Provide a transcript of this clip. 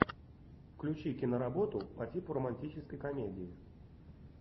включи киноработу по типу романтической комедии